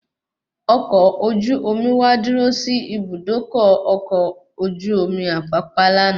Ọkọ̀ ojú omi wá dúró sí Ibùdókọ̀ ọkọ̀ ojú omi Apapa lànà